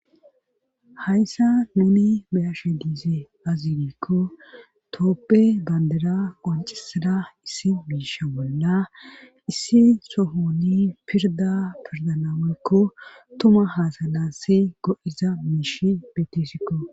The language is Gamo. hayssa nuni bayashe diize azinikko tooppe bandera qoncisada issi biisha bolla issi sohoni pirda pirdanaekko tuma haasalasi go7iza miish bettesikko